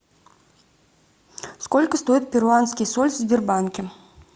сколько стоит перуанский соль в сбербанке